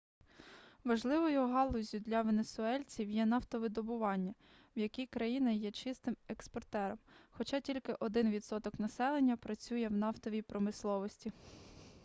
важливою галуззю для венесуельців є нафтовидобування в якій країна є чистим експортером хоча тільки 1 відсоток населення працює в нафтовій промисловості